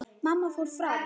Mamma fór fram.